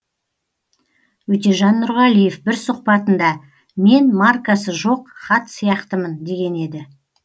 өтежан нұрғалиев бір сұхбатында мен маркасы жоқ хат сияқтымын деген еді